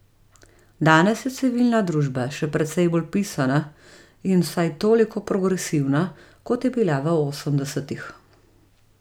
Danes je civilna družba še precej bolj pisana in vsaj toliko progresivna, kot je bila v osemdesetih.